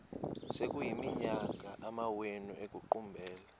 sekuyiminyaka amawenu ekuqumbele